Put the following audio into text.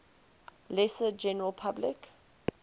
lesser general public